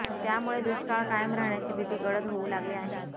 त्यामुळे दुष्काळ कायम राहण्याची भीती गडद होऊ लागली आहे